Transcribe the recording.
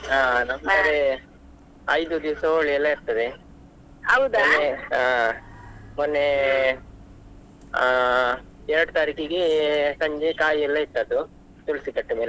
ಅಹ್ ನಮ್ ಕಡೆ ಐದು ದಿವ್ಸ Holi ಎಲ್ಲಾ ಇರ್ತದೆ, ಹಾ ಮೊನ್ನೆ ಅಹ್ ಎರಡು ತಾರೀಕಿಗೆ ಸಂಜೆ ಕಾಯಿ ಎಲ್ಲ ಇಟ್ಟದ್ದು ತುಳ್ಸಿ ಕಟ್ಟೆ ಮೇಲೆ,